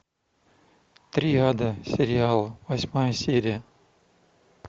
триада сериал восьмая серия